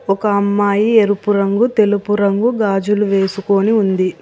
ఒక అమ్మాయి ఎరుపు రంగు తెలుపు రంగు గాజులు వేసుకొని ఉంది.